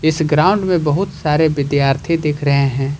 इस ग्राउंड में बहुत सारे विद्यार्थी दिख रहे हैं।